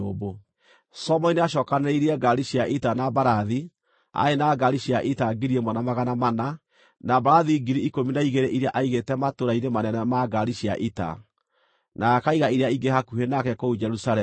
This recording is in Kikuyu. Solomoni nĩacookanĩrĩirie ngaari cia ita na mbarathi; aarĩ na ngaari cia ita 1,400, na mbarathi 12,000 iria aigĩte matũũra-inĩ manene ma ngaari cia ita, na akaiga iria ingĩ hakuhĩ nake kũu Jerusalemu.